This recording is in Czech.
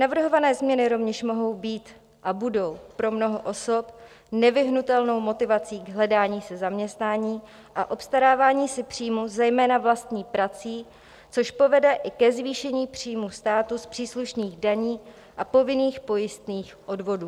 Navrhované změny rovněž mohou být a budou pro mnoho osob nevyhnutelnou motivací k hledání si zaměstnání a obstarávání si příjmů zejména vlastní prací, což povede i ke zvýšení příjmů státu z příslušných daní a povinných pojistných odvodů.